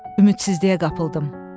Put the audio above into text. Ümidsizliyə qapıldım.